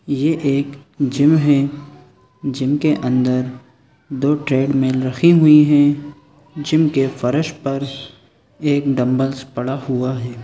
ये एक जिम है जिम के अंदर दो ट्रेड्मिल रखी हुई है जिम के फर्श पर एक डंबल्स पड़ा हुआ हैं।